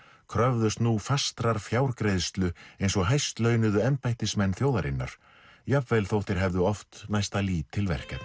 kröfðust nú fastrar fjárgreiðslu eins og hæst launuðu embættismenn þjóðarinnar jafnvel þótt þeir hefðu oft næsta lítil verkefni